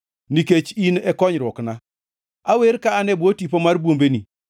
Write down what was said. Nikech in e konyruokna, awer ka an e bwo tipo mar bwombeni.